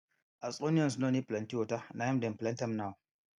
as onions no need plenty water na him dem plant am now